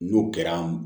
N'o kɛra